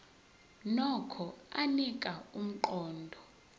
nokho anika umqondo